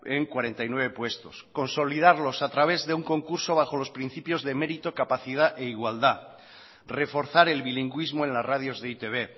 en cuarenta y nueve puestos consolidarlos a través de un concurso bajo los principios de mérito capacidad e igualdad reforzar el bilingüismo en las radios de e i te be